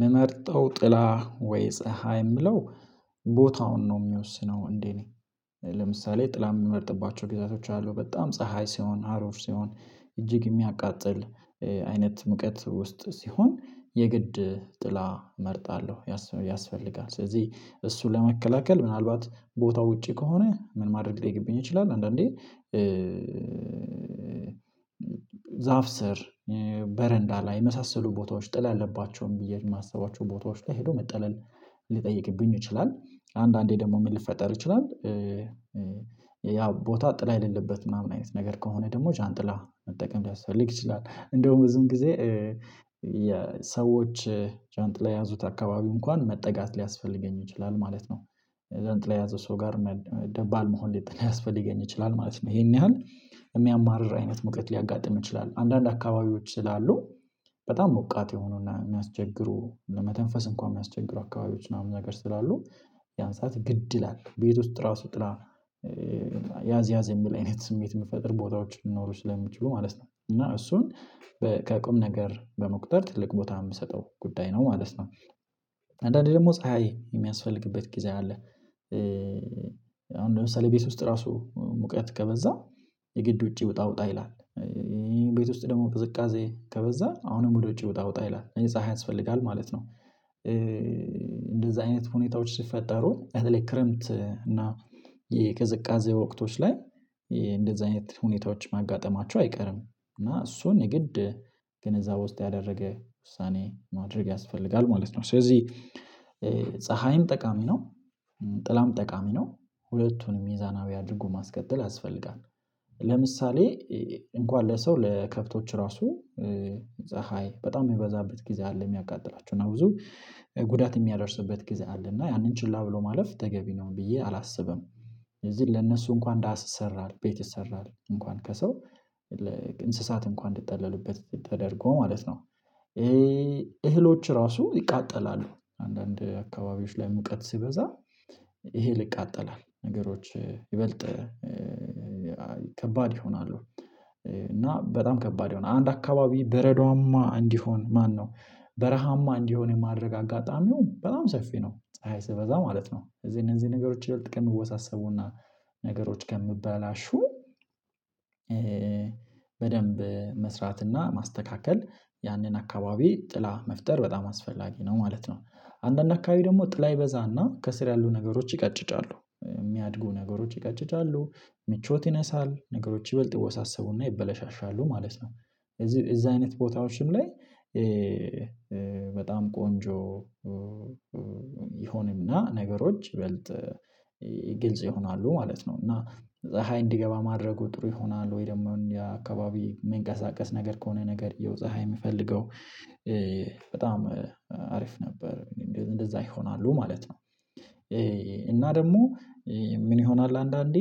ምመርጠው ጥላ ወይ ፀሀይ የምለው ቦታውን ነው የሚወስነው እንዴ? ነኝ። ለምሳሌ ጥላ የሚመርጥባቸው ጊዜያቶች አሉ በጣም ፀሀይ ሲሆን ሀሩር ሲሆን እጅግ የሚያቃጥል አይነት ሙቀት ውስጥ ሲሆን የግድ ጥላ እመርጣለሁ ያስፈልጋል ስለዚህ እሱን ለመከላከል ምናልባት ቦታው ውጪ ከሆነ ምን ማድረግ ሊገብኝ ይችላል። አንዳንዴ ዛፍ ስር በረንዳ ላይ የመሳሰሉ ቦታዎች ጥላ አለባቸውም ብዬ የማስባቸው ቦታዎች ላይ ሄዶ መጠለል ሊጠይቅብኝ ይችላል። አንዳንዴ ደግሞ ሊፈጠር ይችላል። ያ ቦታ ጥላ የሌለበት ምናምን አይነት ነገር ከሆነ ደግሞ ዣንጥላ መጠቀም ሊያስፈልግ ይችላል። እንደውም ብዙም ጊዜ የሰዎች ዣንጥላ ያዙት አካባቢ እንኳን መጠጋት ሊያስፈልገኝ ይችላል ማለት ነው። ዣንጥላ የያዘ ሰው ጋር ደባል መሆን ሊያስፈልገኝ ይችላል ማለት ነው። ይሄን ያህል የሚያማርር አይነት መቅየት ሊያጋጥም ይችላል አንዳንድ አካባቢዎች ይላሉ። በጣም ሞቃት የሆኑና የሚያስቸግሩ ለመተንፈስ እንኳን የሚያስቸግሩ አካባቢዎች ምናምን ነገር ስላሉ። ያን ሰዓት ግድ ይላል ቤት ውስጥ ራሱ ጥላ ያዝ ያዝ የሚል አይነት ስሜት የምፈጥር ቦታዎች ሊኖሩ ስለሚችሉ ማለት ነው። እና እሱን ከቅም ነገር በመቁጠር ትልቅ ቦታ የምሰጠው ጉዳይ ነው ማለት ነው። አንዳንዴ ደግሞ ፀሀይ የሚያስፈልግበት ጊዜ አለ። አሁን ለምሳሌ ቤት ውስጥ ራሱ ሙቀት ከበዛ የግድ ውጪ ውጣ ውጣ ይላል። ቤት ውስጥ ደግሞ ፍዝቃዜ ከበዛ አሁንም ወደ ውጪ ውጣ ውጣ ይላል እኔ ፀሀይ ያስፈልጋል ማለት ነው። እንደዛ አይነት ሁኔታዎች ሲፈጠሩ በተለይ ክረምት እና የቅዝቃዜ ወቅቶች ላይ እንደዚህ አይነት ሁኔታዎች ማጋጠማቸው አይቀርም። እና እሱን የግድ ግንዛቤ ውስጥ ያደረገ ውሳኔ ማድረግ ያስፈልጋል ማለት ነው። ስለዚህ ጠቃሚ ነው። ጥላም ጠቃሚ ነው። ሁለቱንም ሚዛናዊ አድርጎም ማስቀጠል ያስፈልጋል። ለምሳሌ እንኳን ለሰው ለከብቶች ራሱ ፀሀይ በጣም የሚበዛበት ጊዜ አለ የሚያቃጥላችሁ እና ብዙ ጉዳት የሚያደርስበት ጊዜ አለ። እና ያንን ችላ ብሎ ማለፍ ተገቢ ነው ብዬ አላስብም። ለዚህ ለእነሱ እንኳን ዳህስ ይሰራል ቤት ይሰራል እንኳን ከሰው እንስሳት እንኳን እንድትጠለሉበት ትተደርጎ ማለት ነው። እህሎች ራሱ ይቃጠላሉ አንዳንድ አካባቢዎች ላይ ሙቀት ሲበዛ ይሄ ልቃጠላል ነገሮች ይበልጥ ይሆናሉ እና በጣም ከባድ ይሆናል። አንድ አካባቢ በረዷማ እንዲሆን ማነው በረሃማ እንዲሆን የማድረግ አጋጣሚው በጣም ሰፊ ነው። ስበዛ ማለት ነው። እዚህ እነዚህ ነገሮች ይብለጥ ቀን ይወሳሰቡና ነገሮች ከምበላሹ በደንብ መስራትና ማስተካከል ያንን አካባቢ ጥላ መፍጠር በጣም አስፈላጊ ነው ማለት ነው። አንዳንድ አካባቢ ደግሞ ጥላ ይበዛና ከስር ያሉ ነገሮች ይቀጭጫሉ የሚያድጉ ነገሮች ይቀጭጫሉ። ምቾት ይነሳል ነገሮች ይበልጥ ይወሳሰቡና ይበላሻሻሉ ማለት ነው። እዚህ እዛ አይነት ቦታዎች ስም ላይ በጣም ቆንጆ ይሆንምና ነገሮች ይበልጥ ይሆናሉ ማለት ነው። እና ፀሀይ እንዲገባ ማድረጉ ጥሩ ይሆናል። ወይ ደግሞ ያ አካባቢ የሚንቀሳቀስ ነገር ከሆነ ነገርየው ፀሀይ የምፈልገው በጣም አሪፍ ነበር። እንደዛ ይሆናሉ ማለት ነው። እና ደግሞ ምን ይሆናል አንዳንዴ?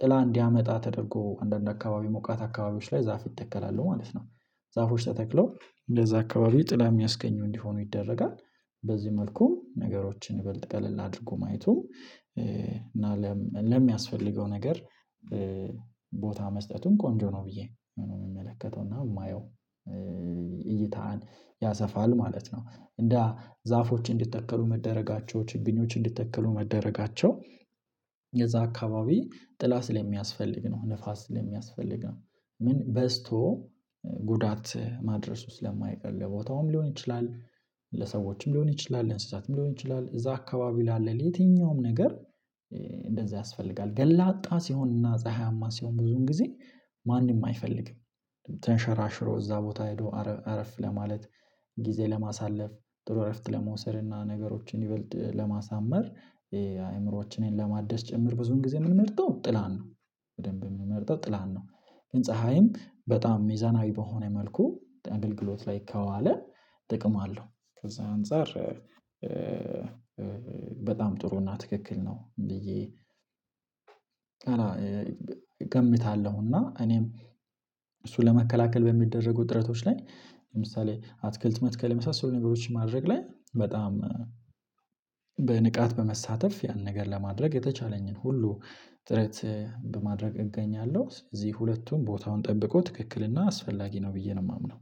ጥላ እንዲያመጣ ተደርጎ አንዳንድ አካባቢ ሞቃት አካባቢዎች ላይ ዛፍ ይተከላሉ ማለት ነው። ዛፎች ተተክለው እንደዛ አካባቢ ጥላ የሚያስገኘው እንዲሆኑ ይደረጋል። በዚህ መልኩ ነገሮችን ይበልጥ ቀለል አድርጉ ማየቱ እና ለሚያስፈልገው ነገር ቦታ መስጠቱን ቆንጆ ነው ብዬ የምመለከተው እና የማየው እይታን ያሰፋል ማለት ነው። እንደ ዛፎች እንዲተከሉ መደረጋቸው ችግኞች እንዲተከሉ መደረጋቸው የዛ አካባቢ ጥላ ላይ ስለሚያስፈልግ ነው። ንፋስ ስለሚያስፈልግ ነው። ምን በዝቶ ጉዳት ማድረስ ውስጥ ስለማይቀር ቦታውም ሊሆን ይችላል። ለሰዎችም ሊሆን ይችላል ለእንስሳትም ሊሆን ይችላል እዛ አካባቢ ላለ የትኛውም ነገር። እንደዚህ ያስፈልጋል ገላጣ ሲሆንና ፀሀያማ ሲሆን ብዙን ጊዜ ማንም አይፈልግም። ተንሸራሽሮ እዛ ቦታ ሄዶ አረፍ ለማለት ጊዜ ለማሳለፍ ጥሩ እረፍት ለመውሰድ እና ነገሮችን ይበልጥ ለማሳመር የአእምሮአችንን ለማደስ ጭምር ብዙን ጊዜ የምንመርጠው ጥላን ነው። በደንብ የምንመርጠው ጥላን ነው። ህንፃዬም በጣም ሚዛናዊ በሆነ መልኩ አገልግሎት ላይ ከዋለ ጥቅምአለሁ ከዛ አንፃር በጣም ጥሩና ትክክል ነው። ብዬ እገምታለሁና እኔም እሱ ለመከላከል በሚደረጉ ጥረቶች ላይ ለምሳሌ አትክልት መትከል የመሳሰሉ ነገሮች ማድረግ ላይ በጣም በንቃት በመሳተፍ ያን ነገር ለማድረግ የተቻለኝን ሁሉ ጥረት በማድረግ እገኛለሁ። እዚህ ሁለቱን ቦታውን ጠብቆ ትክክልና አስፈላጊ ነው ብዬ ነው የማምነው።